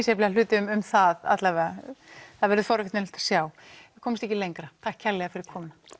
misjafnlega hluti um það allavega það verður forvitnilegt sjá við komumst ekki lengra takk kærlega fyrir komuna